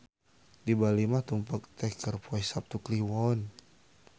Di Bali mah tumpek teh keur poe Saptu Kliwon.